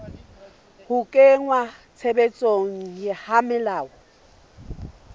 ho kenngwa tshebetsong ha melao